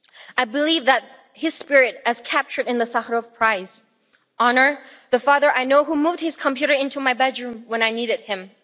I believe that his spirit, as captured in the Sakharov Prize, honours the father I know who moved his computer into my bedroom when I needed